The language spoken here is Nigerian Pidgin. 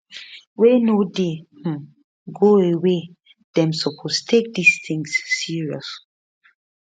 wey no dey um go away dem suppose take dis tins serious